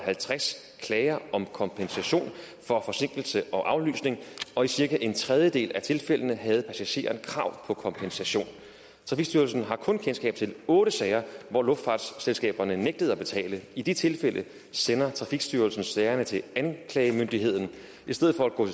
halvtreds klager om kompensation for forsinkelse og aflysning og i cirka en tredjedel af tilfældene havde passageren krav på kompensation trafikstyrelsen har kun kendskab til otte sager hvor luftfartsselskaberne nægtede at betale i de tilfælde sender trafikstyrelsen sagerne til anklagemyndigheden i stedet for at gå